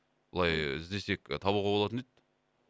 былай іздесек і табуға болатын еді